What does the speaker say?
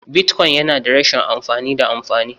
Bitcoin yana da rashin amfani da amfani..